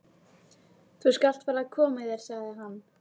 Þú skalt fara að koma þér, sagði hann.